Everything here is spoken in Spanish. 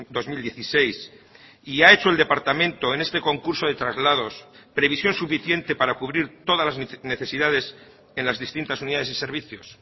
dos mil dieciséis y ha hecho el departamento en este concurso de traslados previsión suficiente para cubrir todas las necesidades en las distintas unidades y servicios